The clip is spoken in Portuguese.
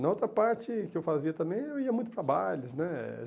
Na outra parte que eu fazia também, eu ia muito para bailes né.